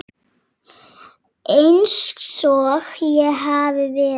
Einsog ég hafi verið.